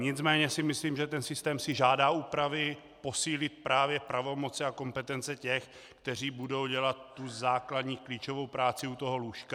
Nicméně si myslím, že ten systém si žádá úpravy, posílit právě pravomoci a kompetence těch, kteří budou dělat tu základní klíčovou práci u toho lůžka.